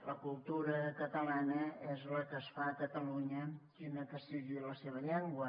la cultura catalana és la que es fa a catalunya quina que sigui la seva llengua